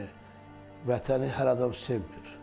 Yəni Vətəni hər adam sevmir.